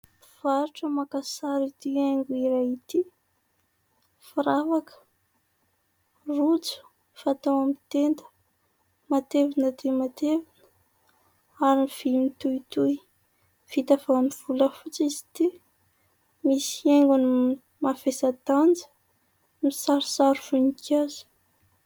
Mpivarotra maka sary ity haingo iray ity, firavaka, rojo fatao amin'ny tena, matevina dia matevina ary vy mitohitohy. Vita avy amin'ny volafotsy izy ity, misy hiaingony mavesa-danja misarisary voninkazo.